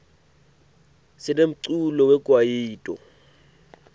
sinemculo we kwayito